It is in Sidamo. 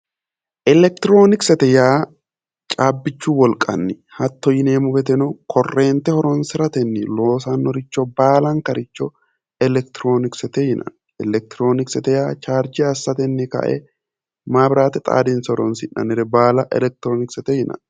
Elekitirionikisete yaa caabbichu wolqani hatto yinneemmo woyte korente horonsirateni loosanoricho ,baalankaricho elekitirionikisete yinnanni, elekitirionikisete yaa charije assateni kae mabirate xaadinse horonsi'nannire baalla elekitirionikesete yinnanni.